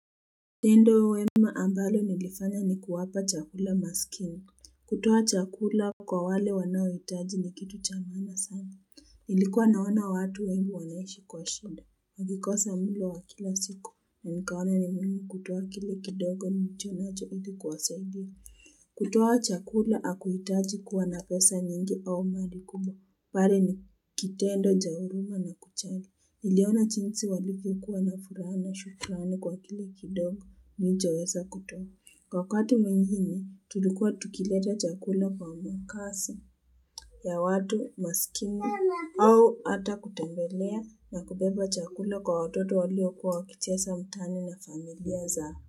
Tendo wema ambalo nilifanya ni kuwapa chakula maskini. Kutoa chakula kwa wale wanaohitaji ni kitu cha maana sana. Ilikuwa naona watu wengi wanaishi kwa shinda. Nilikosa mulo wa kila siku. Na nikaona ni muhimu kutoa kile kidogo nilichonacho ili kuwasaidia. Kutoa chakula hakuitaji kuwa napesa nyingi au mradi kubwa. Pale ni kitendo cha huruma na kuchangia. Niliona jinsi walivyo kuwa na furaha na shukrani kwa kile kidogo nichoweza kutowa. Wakati mwingine, tulikua tukileta chakula kwa makazi ya watu masikini au hata kutembelea na kubeba chakula kwa watoto walio kuwa kicheza mtaani na familia zao.